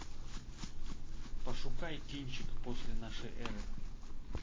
пошукай кинчик после нашей эры